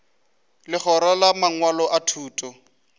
legora la mangwalo a thuto